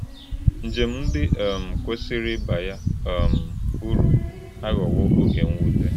Njem ndị um kwesịrị ịba ya um uru aghọwo oge mwute.